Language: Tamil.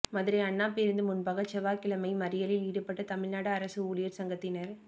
மதுரை அண்ணா பேருந்து முன்பாக செவ்வாய்க்கிழமை மறியலில் ஈடுபட்ட தமிழ்நாடு அரசு ஊழியா் சங்கத்தினா்